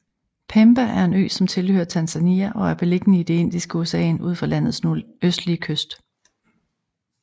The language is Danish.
Pemba er en ø som tilhører Tanzania og er beliggende i det Indiske Ocean ud for landets nordøstlige kyst